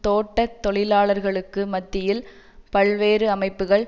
தோட்ட தொழிலாளர்களுக்கு மத்தியில் பல்வேறு அமைப்புகள்